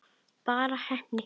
Bara heppni?